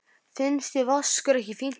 Finnst þér Vaskur ekki fínt nafn?